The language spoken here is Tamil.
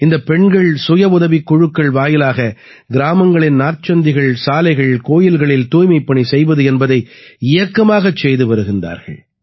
இந்தப் பெண்கள் சுயஉதவிக் குழுக்கள் வாயிலாக கிராமங்களின் நாற்சந்திகள் சாலைகள் கோயில்களில் தூய்மைப்பணி செய்வது என்பதை இயக்கமாகச் செய்து வருகிறார்கள்